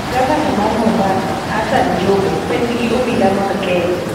Gavana mar Mombasa, Hassan Joho, penj gi obila mag kenya